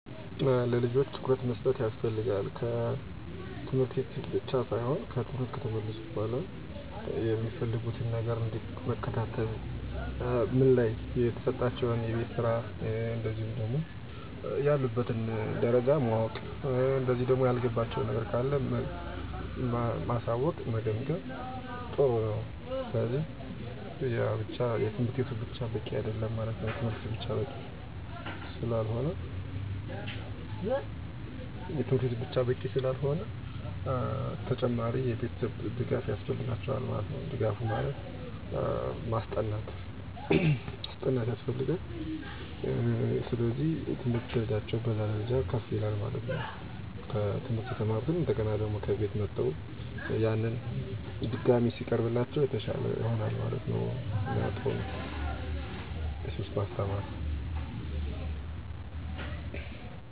ለመርዳት የሚቻሉ ነገሮች 1. ዕለታዊ ወይም ሳምንታዊ መደርደሪያ አዘጋጅተው የትምህርት፣ የስራ እና የዕረፍት ሰዓትን በግልፅ ይወስኑላቸው። ይህ ጊዜን በቅናሽ እንዲያስተዳድሩ ይረዳቸዋል። ለስኬት የሚረዱ ስልቶች · ጥራት ከብዛት በላይ ትኩረት መስጠት ለማጥናት ትንሽ ጊዜ ቢኖራቸውም፣ በዚያን ጊዜ ሙሉ ትኩረት እንዲሰጡ አስተምሯቸው። ማጠቃለያ ዋናው ዓላማ ትምህርታቸውን እንደ ቅድሚያ ማድረግ፣ የተመጣጠነ መደርደሪያ ማቅረብ እና ስሜታዊ ህግጋት በመጨመር ልጆቹ በሁለቱም ዘርፎች ኃላፊነታቸውን እንዲወጡ ማገዝ ነው።